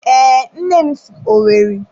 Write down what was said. Ee, nne si Owerri.